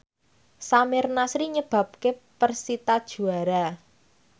Samir Nasri nyebabke persita juara